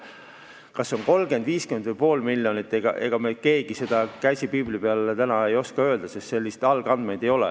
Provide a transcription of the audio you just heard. Kas see on 30 000, 50 000 või pool miljonit, seda me keegi, käsi piibli peal, täna ei oska öelda, sest algandmeid ei ole.